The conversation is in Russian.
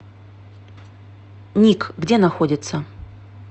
ник где находится